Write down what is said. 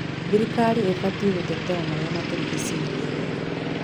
Thirikari ĩbatiĩ gũtetera marĩa matũrigicĩirie wega.